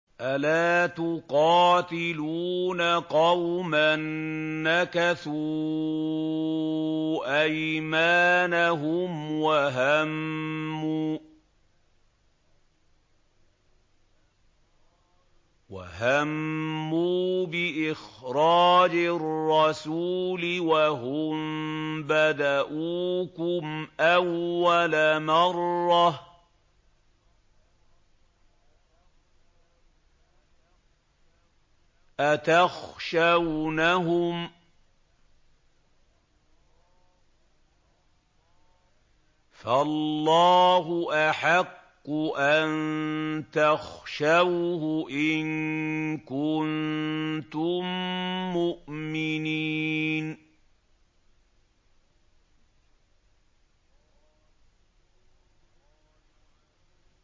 أَلَا تُقَاتِلُونَ قَوْمًا نَّكَثُوا أَيْمَانَهُمْ وَهَمُّوا بِإِخْرَاجِ الرَّسُولِ وَهُم بَدَءُوكُمْ أَوَّلَ مَرَّةٍ ۚ أَتَخْشَوْنَهُمْ ۚ فَاللَّهُ أَحَقُّ أَن تَخْشَوْهُ إِن كُنتُم مُّؤْمِنِينَ